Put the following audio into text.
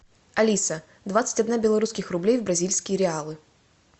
алиса двадцать одна белорусских рублей в бразильские реалы